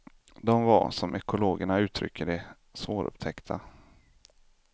De var, som ekologerna uttrycker det, svårupptäckta.